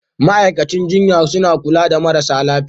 Ma'aikacin jinya suna kulla da marasa lafiya